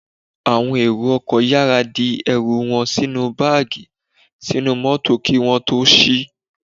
Àwọn èrò ọkọ̀ yára di ẹrù wọn sínú báàgì sínú mótò kí wọ́n tó sí